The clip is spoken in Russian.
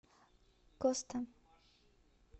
коста